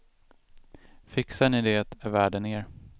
Fixar ni det är världen er.